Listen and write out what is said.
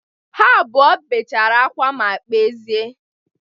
Ha abụọ bechara akwa ma kpezie.